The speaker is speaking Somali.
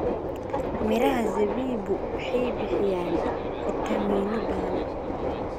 Midhaha zabibu waxay bixiyaan fiitamiinno badan.